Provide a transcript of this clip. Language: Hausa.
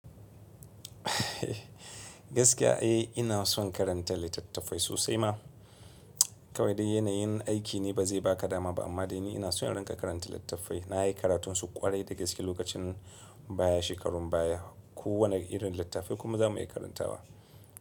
Ina son karanta littattafai sosai ma. Kawai dai yanayin aikine ba zai ba ka dama ba, amma dai ni ina so in rinƙa karanta littattafai. Na yi karatunsu ƙwarai da gaske lokacin baya, shekarun baya. Ko wane irin littafai kuma za mu iya karantawa.